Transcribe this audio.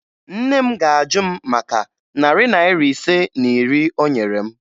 Nne m ga-ajụ m maka narị naịra ise na iri o nyere m